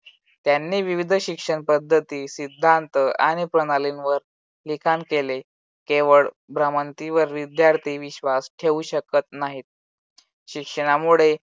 त्यांनी विविध शिक्षण पद्धती सिद्धांत आणि प्रणालींवर लिखाण केले. केवळ भ्रमंतीवर विद्यार्थी विश्वास ठेवू शकत नाहीत. शिक्षणामुळे